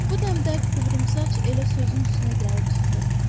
Bu dəmdə qıvrımsaç elə sözün üstünə gəlib çıxdı.